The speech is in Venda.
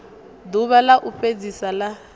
ḓuvha ḽa u fhedzisa ḽa